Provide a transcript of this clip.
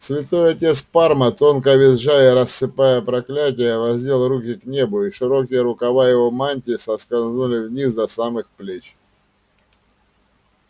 святой отец парма тонко визжа и рассыпая проклятия воздел руки к небу и широкие рукава его мантии соскользнули вниз до самых плеч